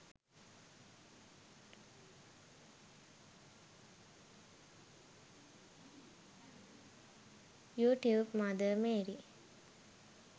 you tube mother Mary